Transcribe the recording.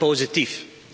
Maar ik ben positief.